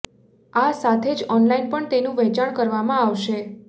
આ સાથે જ ઓનલાઈન પણ એનું વેચાણ કરવામાં આવશે